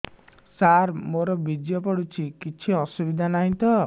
ସାର ମୋର ବୀର୍ଯ୍ୟ ପଡୁଛି କିଛି ଅସୁବିଧା ନାହିଁ ତ